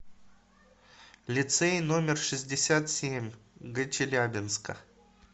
лицей номер шестьдесят семь г челябинска